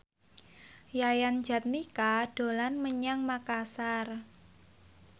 Yayan Jatnika dolan menyang Makasar